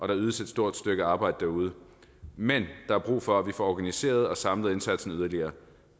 der ydes et stort stykke arbejde derude men der er brug for at vi får organiseret og samlet indsatsen yderligere